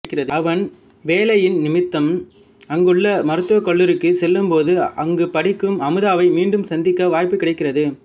அவன் வேலையின் நிமித்தம் அங்குள்ள மருத்துவக்கல்லூரிக்குச் செல்லும்போது அங்கு படிக்கும் அமுதாவை மீண்டும் சந்திக்கும் வாய்ப்பு கிடைக்கிறது